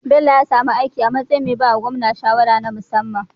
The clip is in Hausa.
Bello ya sami aiki a matsayin me bawa gwamna shawara na musamman